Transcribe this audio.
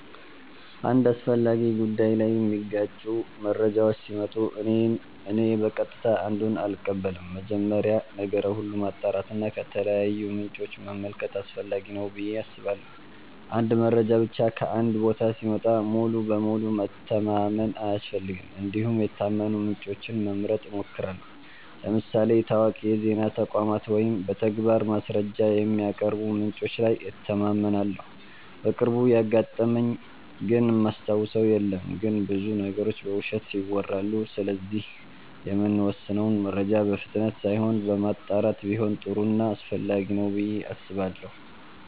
አንድ አስፈላጊ ጉዳይ ላይ የሚጋጩ መረጃዎች ሲመጡ እኔ በቀጥታ አንዱን አልቀበልም። መጀመሪያ ነገር ሁሉ ማጣራት እና ከተለያዩ ምንጮች መመልከት አስፈላጊ ነው ብዬ አስባለሁ። አንድ መረጃ ብቻ ከአንድ ቦታ ሲመጣ ሙሉ በሙሉ መተማመን አያስፈልግም እንዲሁም የታመኑ ምንጮችን መምረጥ እሞክራለሁ ለምሳሌ ታዋቂ የዜና ተቋማት ወይም በተግባር ማስረጃ የሚያቀርቡ ምንጮች ላይ እተማመናለሁ። በቅርቡ ያጋጠመኝ ግን እማስታውሰው የለም ግን ብዙ ነገሮች በውሸት ይወራሉ ስለዚህ የምንወስነው መረጃ በፍጥነት ሳይሆን በማጣራት ቢሆን ጥሩ ና አስፈላጊ ነው ብዬ አስባለሁ።